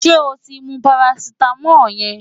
Ṣé o ti mú parasítámọ̀ yẹn?